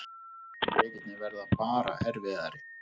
Leikirnir verða bara erfiðari